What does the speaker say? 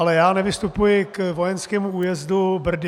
Ale já nevystupuji k vojenskému újezdu Brdy.